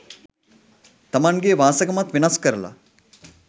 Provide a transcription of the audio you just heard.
තමන්ගෙ වාසගමත් වෙනස් කරල